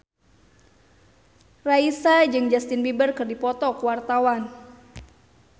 Raisa jeung Justin Beiber keur dipoto ku wartawan